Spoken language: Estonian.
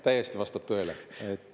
Täiesti vastab tõele.